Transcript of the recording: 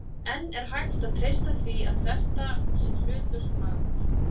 En er hægt að treysta því að þetta sé hlutlaust mat?